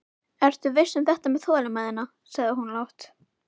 Ertu viss um þetta með þolinmæðina, sagði hún lágt.